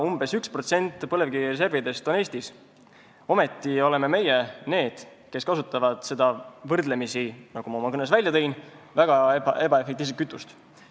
Umbes 1% põlevkivireservidest on Eestis, ometi oleme meie need, kes kasutavad seda võrdlemisi, nagu ma oma kõnes välja tõin, ebaefektiivset kütust.